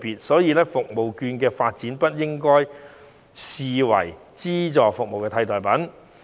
所以，社區券的發展不應該被視為資助服務的替代品。